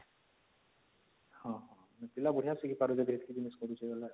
ହଁ ହଁ ପିଲା ବଢିଆ ଶିଖି ପାରିବେ